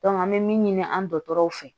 an bɛ min ɲini an dɔgɔtɔrɔw fɛ